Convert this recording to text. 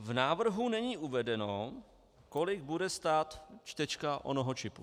V návrhu není uvedeno, kolik bude stát čtečka onoho čipu.